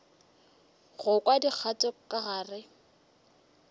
go kwa dikgato ka gare